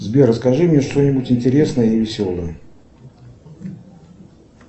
сбер расскажи мне что нибудь интересное и веселое